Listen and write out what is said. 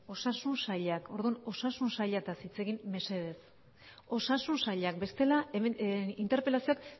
osasun sailak orduan osasun sailataz hitz egin mesedez osasun sailak bestela interpelazioak